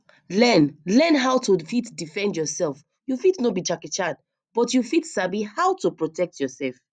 learn learn how to fit defend yourself you fit no be jackie chan but you fit sabi how to protect yourself